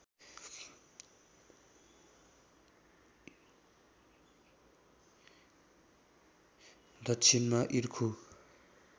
दक्षिणमा इर्खु